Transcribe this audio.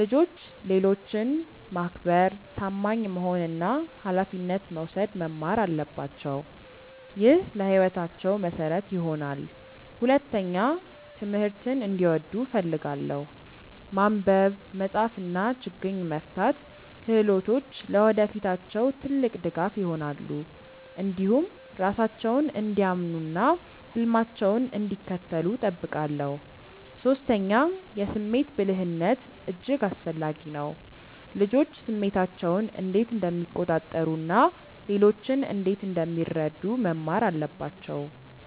ልጆች ሌሎችን ማክበር፣ ታማኝ መሆን እና ኃላፊነት መውሰድ መማር አለባቸው። ይህ ለሕይወታቸው መሠረት ይሆናል። ሁለተኛ፣ ትምህርትን እንዲወዱ እፈልጋለሁ። ማንበብ፣ መጻፍ እና ችግኝ መፍታት ክህሎቶች ለወደፊታቸው ትልቅ ድጋፍ ይሆናሉ። እንዲሁም ራሳቸውን እንዲያምኑ እና ህልማቸውን እንዲከተሉ እጠብቃለሁ። ሶስተኛ፣ የስሜት ብልህነት እጅግ አስፈላጊ ነው። ልጆች ስሜታቸውን እንዴት እንደሚቆጣጠሩ እና ሌሎችን እንዴት እንደሚረዱ መማር አለባቸው